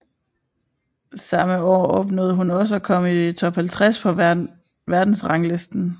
Samme år opnåede hun også at komme i Top 50 på verdensranglisten